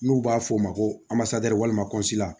N'u b'a f'o ma ko walima